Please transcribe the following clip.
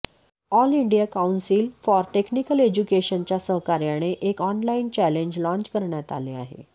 all India council for technical एज्युकेशनच्या सहकार्याने एक ऑनलाइन चॅलेंज लाँच करण्यात आले आहे